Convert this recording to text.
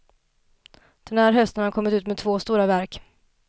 Den här hösten har han kommit ut med två stora verk.